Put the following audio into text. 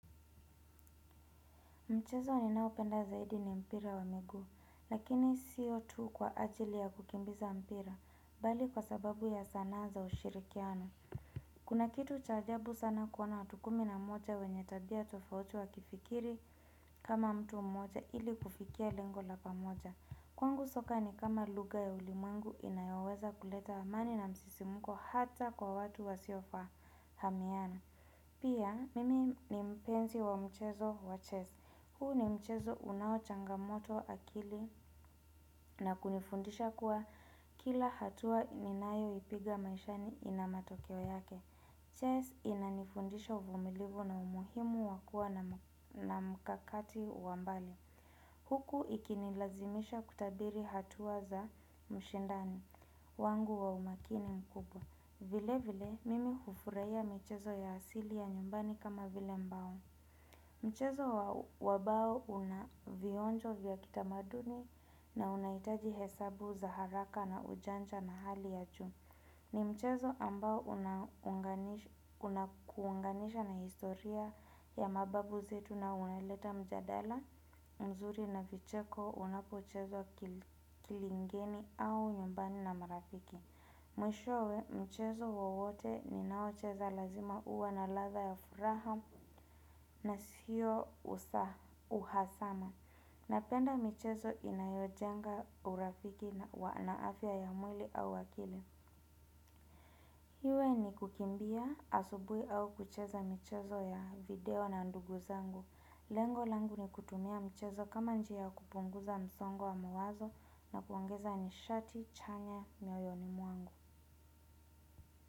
Mchezo ninaopenda zaidi ni mpira wa miguu, lakini sio tu kwa ajili ya kukimbiza mpira, bali kwa sababu ya sanaa za ushirikiano. Kuna kitu cha ajabu sana kuona watu kumi na mmoja wenye tabia tofauti wa kifikiri kama mtu mmoja ili kufikia lengo la pamoja. Kwangu soka ni kama lugha ya ulimangu inayoweza kuleta amani na msisimuko hata kwa watu wasio fahamiana. Pia mimi ni mpenzi wa mchezo wa chess. Huu ni mchezo unao changamoto akili na kunifundisha kuwa kila hatua ninayo ipiga maishani ina matokeo yake. Chess inanifundisha uvumilivu na umuhimu wakua nam na mkakati wa mbali. Huku ikinilazimisha kutabiri hatua za mshindani wangu wa umakini mkubwa. Vile vile, mimi hufurahia mchezo ya asili ya nyumbani kama vile mbao. Mchezo wa wabao una vionjo vya kitamaduni na unahitaji hesabu za haraka na ujanja na hali ya juu. Ni mchezo ambao unakuanga unakuunganisha na historia ya mababu zetu na unaleta mjadala, mzuri na vicheko, unapochezwa kili kilingeni au nyumbani na marafiki. Mwishowe mchezo wowote ni naocheza lazima uwe na ladha ya furaha na siyo usa uhasama Napenda michezo inayojenga urafiki na afya ya mwili au akili Hiwe ni kukimbia asubuhi au kucheza mchezo ya video na ndugu zangu Lengo langu ni kutumia mchezo kama njia ya kupunguza msongo wa mawazo na kuongeza nishati chanya mioyoni mwangu.